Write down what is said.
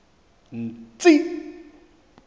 tsi i i